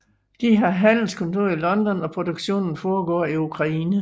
De har handelskontor i London og produktionen foregår i Ukraine